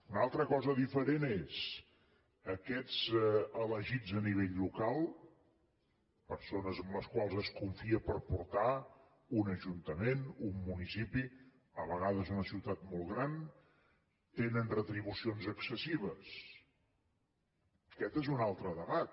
una altra cosa diferent és aquests elegits a nivell local persones en les quals es confia per portar un ajuntament un municipi a vegades una ciutat molt gran tenen retribucions excessives aquest és un altre debat